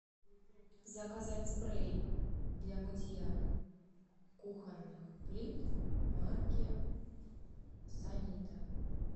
заказать спрей для мытья кухонных плит марки санита